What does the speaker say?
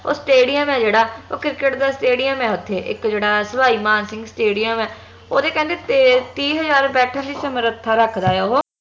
ਉਹ stadium ਆ ਜੇਹੜਾ ਓਹ ਕਿਰਕੇਟ ਦਾ stadium ਆ ਓਥੇ ਇਕ ਜਿਹੜਾ ਸਵਾਈ ਮਾਨ ਸਿੰਘ stadium ਹੈ ਓਹਦੇ ਕਹਿੰਦੇ ਤੇ ਤੀਹ ਹਜਾਰ ਬੈਠਣ ਦੀ ਸਮਰਥਾ ਰੱਖਦਾ ਆ ਓਹ